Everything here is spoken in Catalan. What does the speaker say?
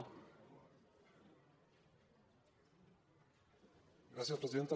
gràcies presidenta